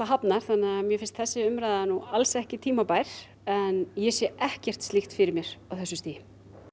hafnar þannig að mér finnst þessi umræða ekki tímabær en ég sé ekkert fyrir mér á þessu stigi